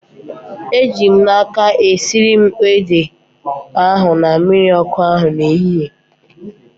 Eji m n'aka, esiri m ede ahu na mmiri ọkụ n'ehihie